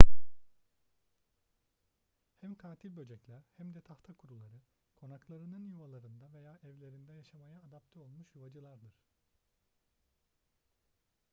hem katil böcekler hem de tahtakuruları konaklarının yuvalarında veya evlerinde yaşamaya adapte olmuş yuvacıllardır